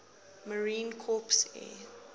marine corps air